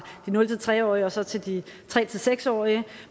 de nul tre årige og så til de tre seks årige